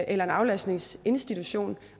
eller en aflastningsinstitution